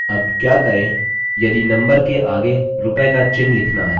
अब क्या करें यदि number के आगे rupee का चिन्ह लिखना है